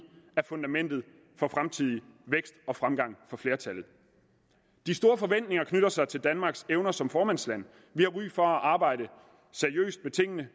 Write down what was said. er fundamentet for fremtidig vækst og fremgang for flertallet de store forventninger knytter sig til danmarks evner som formandsland vi har ry for at arbejde seriøst med tingene